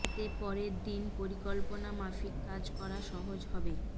এতে পরের দিন পরিকল্পনা মাফিক কাজ করা সহজ হবে